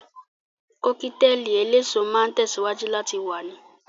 Kọ́kítelì eléso máa tẹ̀síwájú láti wà ni